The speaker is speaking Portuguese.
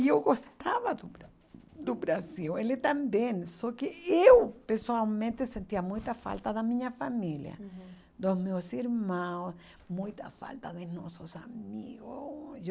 E eu gostava do Bra do Brasil, ele também, só que eu pessoalmente sentia muita falta da minha família, dos meus irmãos, muita falta de nossos amigos oh